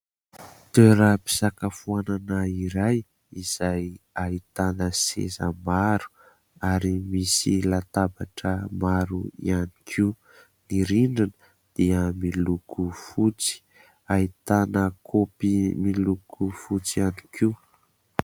Toeram-pisakafoanana iray izay ahitana seza maro, ary misy latabatra maro ihany koa. Ny rindriny dia miloko fotsy, ahitana kopy miloko fotsy ihany koa.